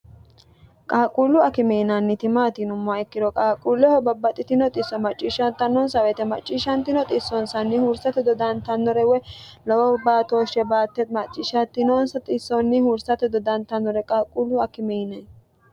qaaqquullu akime yinanniti maati yinummoha ikkiro qaaqquulleho babbaxxitino xisso macciishshattannonsa woyite macciishshantino xissonsanni huursate dodantannore woy lowo baatooshshe baatte macciishattinonsa xissonni huursate dodantannore qaaquullu akime yinay